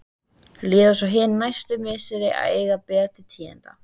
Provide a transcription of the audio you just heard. Líða svo hin næstu misseri að eigi ber til tíðinda.